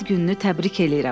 Ad gününü təbrik eləyirəm.